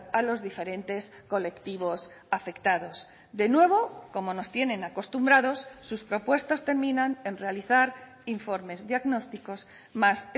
a los diferentes colectivos afectados de nuevo como nos tienen acostumbrados sus propuestas terminan en realizar informes diagnósticos más